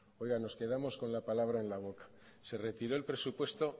oiga nos quedamos con la palabra en la boca se retiró el presupuesto